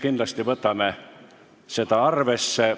Kindlasti võtame seda arvesse.